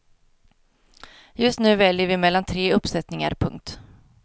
Just nu väljer vi mellan tre uppsättningar. punkt